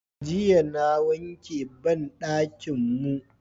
Jiya na wanke banɗakin mu